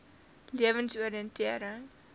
lewensoriëntering